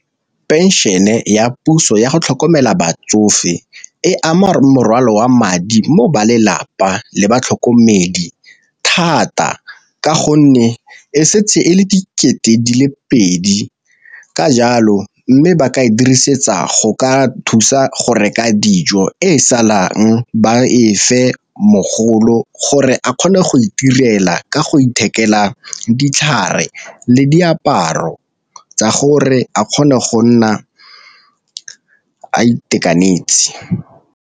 Pension-e ya puso ya go tlhokomela batsofe e ama morwalo wa madi mo ba lelapa le batlhokomedi thata ka gonne e setse e le dikete di le pedi, ka jalo mme ba ka e dirisetsa go ka thusa go reka dijo e salang ba fa mogolo gore a kgone go itirela ka go ithekela ditlhare le diaparo tsa gore a kgone go nna a itekanetse.